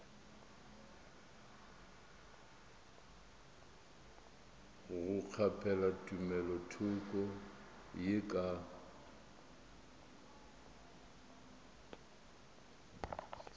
go kgaphela tumelothoko ye ka